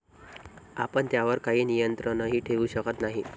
आपण त्यावर काही नियंत्रणही ठेवू शकत नाही.